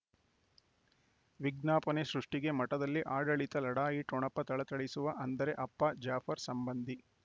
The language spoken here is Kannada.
ವಿಜ್ಞಾಪನೆ ಸೃಷ್ಟಿಗೆ ಮಠದಲ್ಲಿ ಆಡಳಿತ ಲಢಾಯಿ ಠೊಣಪ ಥಳಥಳಿಸುವ ಅಂದರೆ ಅಪ್ಪ ಜಾಫರ್ ಸಂಬಂಧಿ